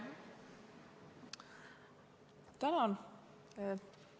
Tänan!